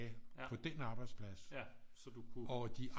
På dén arbejdsplads og de